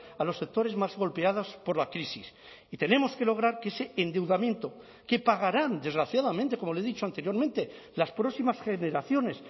a los sectores más golpeados por la crisis y tenemos que lograr que ese endeudamiento que pagarán desgraciadamente como le he dicho anteriormente las próximas generaciones